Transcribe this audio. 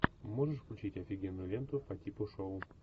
можешь включить офигенную ленту по типу шоу